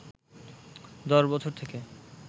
১০ বছর থেকে